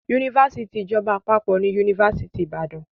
Yunifásitì ìjọba àpapọ̀ ni Yunifásitì Ìbàdàn.